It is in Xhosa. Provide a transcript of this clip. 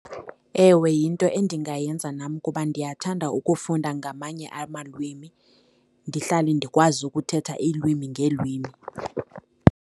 Ewe, yinto endingayenza nam kuba ndiyathanda ukufunda ngamanye amalwimi, ndihlale ndikwazi ukuthetha iilwimi ngeelwimi.